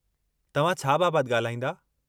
तव्हां छा बाबतु ॻाल्हाईंदा?